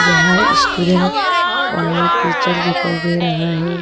यहां स्टूडेंट और टीचर दिखाई दे रहा है।